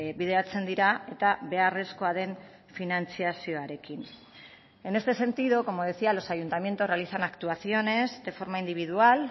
bideratzen dira eta beharrezkoa den finantzazioarekin en este sentido como decía los ayuntamientos realizan actuaciones de forma individual